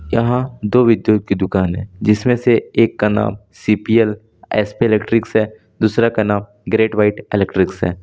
यहां दो विद्युत की दुकान हैजिसमें से एक का नाम C P L S P electrics है दूसरा का नाम ग्रेटव्हाइट इलेक्ट्रिक्स है।